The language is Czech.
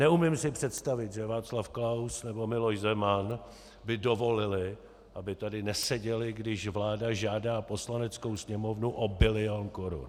Neumím si představit, že Václav Klaus nebo Miloš Zeman by dovolili, aby tady neseděli, když vláda žádá Poslaneckou sněmovnu o bilion korun.